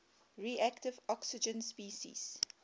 reactive oxygen species